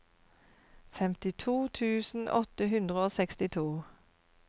femtito tusen åtte hundre og sekstito